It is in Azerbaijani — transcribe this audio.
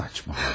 Saçmalama.